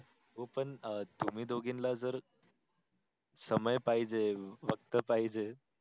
हो पण तुम्ही दोगेनला जर समय पाहिजे वक्त पाहिजे